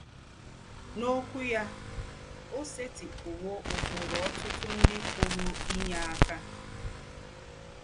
N’Ǒkwú yà, ó sètị̀pụ̀wò ụ́kpụrụ̀ ọ̀tụ̀tụ̀ ńdị pụ̀rù́ ínyé àkà.